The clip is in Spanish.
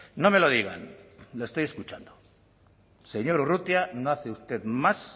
no me lo digan le estoy escuchando señor urrutia no hace usted más